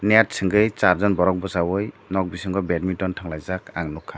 net chungui sarjon borok bosa oe batmintan tunglaijak ang nogkha.